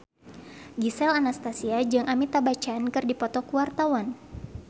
Gisel Anastasia jeung Amitabh Bachchan keur dipoto ku wartawan